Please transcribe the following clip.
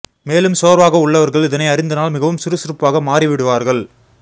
மேலும் சோர்வாக உள்ளவர்கள் இதனை அருந்தினால் மிகவும் சுறுசுறுப்பாக மாறிவிடுவார்கள்